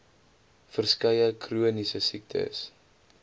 verskeie chroniese siektes